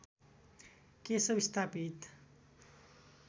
केशव स्थापित